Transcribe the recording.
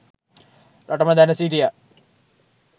රටම දැන සිටියා